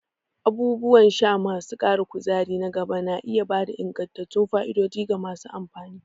Abubuwan sha masu ƙarin kuzari na gaba na iya ba da ingantattun fa'idodi ga masu amfani.